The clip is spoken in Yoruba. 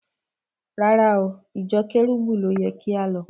Rárá o, ìjọ Kẹ́rúbù ló yẹ kí á lọ.